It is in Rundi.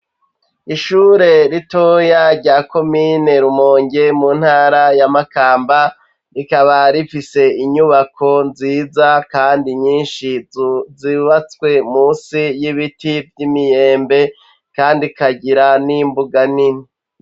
Ishure ritoya rya komine Rumonge mu ntara ya Makamba, rikaba rifise inyubako nziza kandi nyinshi zubatswe munsi y'ibiti vy'imyembe kandi kagira n'imbuga nini.